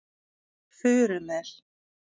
Furumel